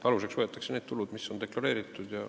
Aluseks võetakse need tulud, mis on deklareeritud.